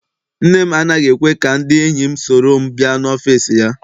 Nne m anaghị ekwe ka ndị enyi m soro m bịa n'ọfịịsi ya.